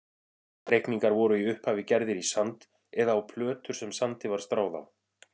Reikningar voru í upphafi gerðir í sand eða á plötur sem sandi var stráð á.